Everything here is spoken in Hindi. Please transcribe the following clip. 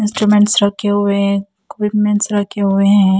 इंस्ट्रूमेंट्स रखे हुए हैं इक्विपमेंट्स रखे हुए हैं।